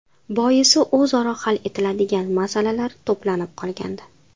Boisi o‘zaro hal etiladigan masalalar to‘planib qolgandi.